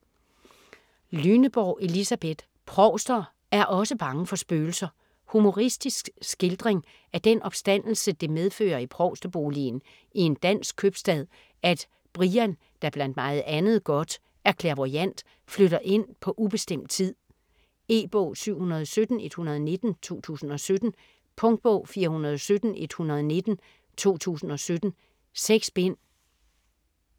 Lyneborg, Elisabeth: Provster er osse bange for spøgelser Humoristisk skildring af den opstandelse det medfører i provsteboligen i en dansk købstad, at Brian, der blandt meget andet godt er clairvoyant, flytter ind på ubestemt tid. E-bog 717119 2017. Punktbog 417119 2017. 6 bind.